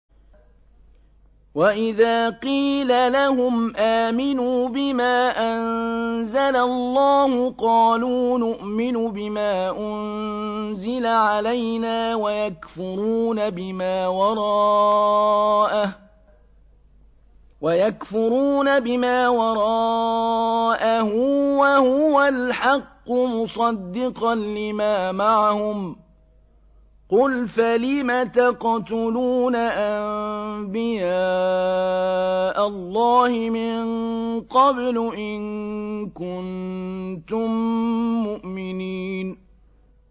وَإِذَا قِيلَ لَهُمْ آمِنُوا بِمَا أَنزَلَ اللَّهُ قَالُوا نُؤْمِنُ بِمَا أُنزِلَ عَلَيْنَا وَيَكْفُرُونَ بِمَا وَرَاءَهُ وَهُوَ الْحَقُّ مُصَدِّقًا لِّمَا مَعَهُمْ ۗ قُلْ فَلِمَ تَقْتُلُونَ أَنبِيَاءَ اللَّهِ مِن قَبْلُ إِن كُنتُم مُّؤْمِنِينَ